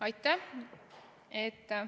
Aitäh!